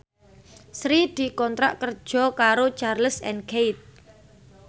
Sri dikontrak kerja karo Charles and Keith